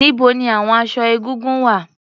Níbo ni àwon aṣọ egúngún wà?